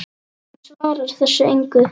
Hann svarar þessu engu.